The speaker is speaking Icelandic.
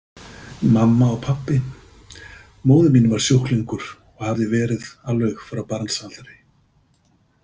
Mamma og pabbi Móðir mín var sjúklingur og hafði verið alveg frá barnsaldri.